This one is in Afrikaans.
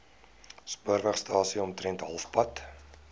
spoorwegstasie omtrent halfpad